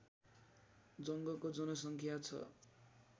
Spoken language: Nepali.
जङ्गको जनसङ्ख्या छ